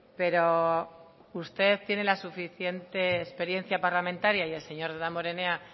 pero usted tiene la suficiente experiencia parlamentaria y el señor damborenea